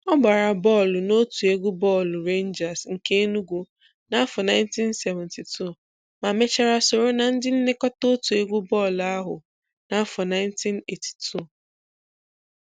Ọ gbara bọọlụ n'otu egwu bọọlụ Rangers nke Enugwu n'afọ 1972 ma mechaa soro na ndị nlekọta otu egwu bọọlụ ahụ n'afọ 1982.